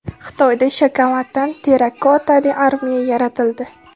Xitoyda shokoladdan terrakotali armiya yaratildi.